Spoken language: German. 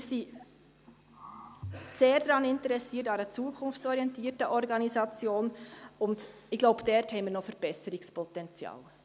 Wir sind sehr an einer zukunftsorientierten Organisation interessiert, und ich glaube, dort haben wir noch Verbesserungspotenzial.